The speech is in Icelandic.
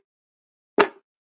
Hvernig fer?